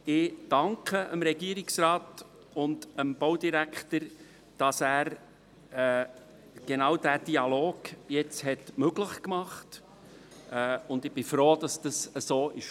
Ich danke dem Regierungsrat und dem Baudirektor, dass er genau diesen Dialog jetzt möglich macht, und ich bin froh, dass es so gekommen ist.